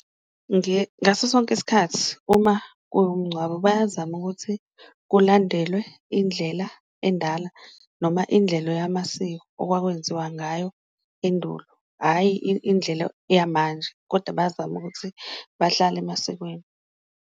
Ngaso sonke isikhathi uma kuwumngcwabo bayazama ukuthi kulandelwe indlela endala noma indlelo yamasiko okwakwenziwa ngayo endulo, hhayi indlela yamanje koda bayazama ukuthi bahlale emasikweni.